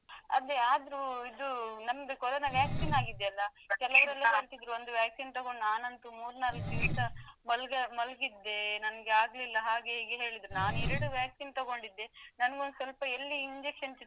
ಅಲ್ಲಿ ಆದ್ರು ಇದು ನಮ್ದು Corona vaccine ಆಗಿದೆಲ್ಲಾ ಕೆಲವರೆಲ್ಲಾ ಅಂತಿದ್ರು ಒಂದು vaccine ತಗೊಂಡು ನಾನಂತು ಮೂರ್ ನಾಲ್ಕು ದಿವಸ ಮಲ್ಗ~ ಮಲ್ಗಿದ್ದೆ ನಂಗೆ ಆಗ್ಲಿಲ್ಲಾ ಹಾಗೆ ಹೀಗೆ ಹೇಳಿದ್ರು ನಾನು ಎರಡು vaccine ತಗೊಂಡಿದ್ದೆ ನಂಗೊಂದ್ ಸ್ವಲ್ಪ ಇಲ್ಲಿ injection ಚುಚ್ಚಿದ್ರು.